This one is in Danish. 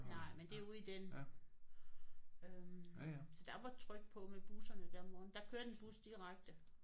Nej men det er ude i den øh så der var tryk på med busserne der om morgenen. Der kørte en bus direkte